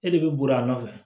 E de bɛ bori a nɔfɛ